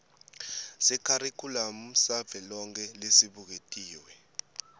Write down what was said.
sekharikhulamu savelonkhe lesibuketiwe